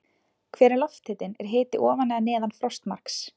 Hver er lofthitinn, er hiti ofan eða neðan frostmarks?